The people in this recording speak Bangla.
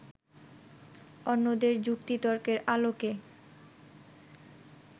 অন্যদের যুক্তি-তর্কের আলোকে